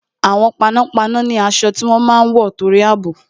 Àwọn panápaná ni aṣọ tí wọ́n máa ń wọ torí àbò